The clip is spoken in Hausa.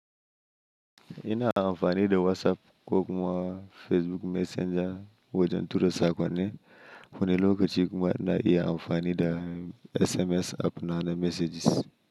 Ina amfani da WhatsApp ko kuma Facebook Messenger wajen tura saƙonni. Wani lokaci kuma ina iya amfani da SMS app na na messages.